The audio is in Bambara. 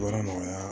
Baara nɔgɔya